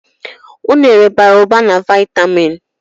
Unere bara ụba na vaitamin.